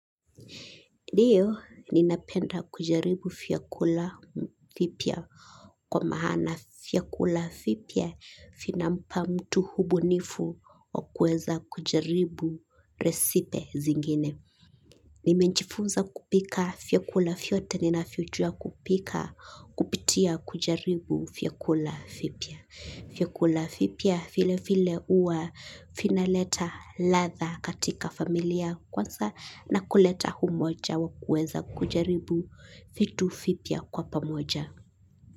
Ndiyo ninapenda kujaribu fiakula vipya kwa mahana fiakula fipia finampa mtu hubunifu wakueza kujaribu resipe zingine. Nimejifunza kupika fiakula fiote ninafiojua kupika kupitia kujaribu fiakula fipya. Fiakula fipia file file uwa finaleta latha katika familia kwansa na kuleta humoja wakueza kujaribu fitu fipia kwa pamoja.